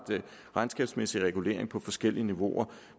regnskabsmæssig regulering på forskellige niveauer